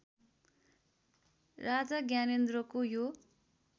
राजा ज्ञानेन्द्रको यो